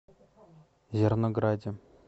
зернограде